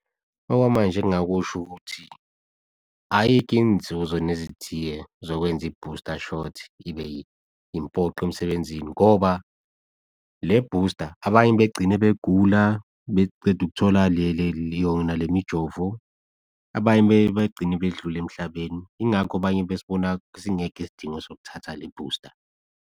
Okwamanje engingakusho ukuthi ayikho inzuzo nezithiye zokwenza i-booster shot ibe impoqo emsebenzini ngoba le booster abanye begcine begula, beceda ukuthola yona lemijovo, abanye begcine bedlule emhlabeni, yingakho abanye besiboni singekho isidingo sokuthatha le booster.